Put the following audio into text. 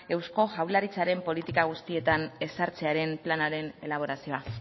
eusko jaurlaritzaren politika guztietan ezartzearen planaren elaborazioa